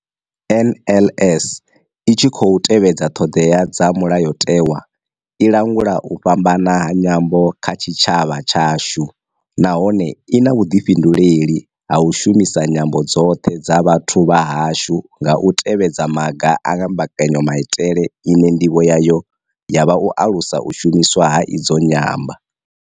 NLS I tshi khou tevhedza ṱhodea dza Mulayotewa, i langula u fhambana ha nyambo kha tshitshavha tshashu nahone I na vhuḓifhinduleli ha u shumisa nyambo dzoṱhe dza vhathu vha hashu nga u tevhedza maga a mbekanyamaitele ine ndivho yayo ya vha u alusa u shumiswa ha idzi nyambo, na idzo nyambo dze kale dza vha dzo thudzelwa kule.